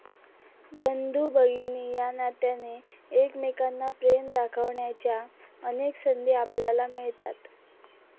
बंधुभगिनी या नात्याने, एकमेकांना प्रेम दाखवण्याच्या अनेक संधी आपल्याला मिळतात.